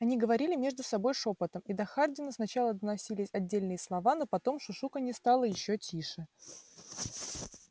они говорили между собой шёпотом и до хардина сначала доносились отдельные слова но потом шушуканье стало ещё тише